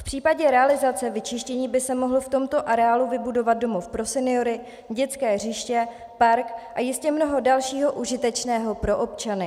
V případě realizace vyčištění by se mohl v tomto areálu vybudovat domov pro seniory, dětské hřiště, park a jistě mnoho dalšího užitečného pro občany.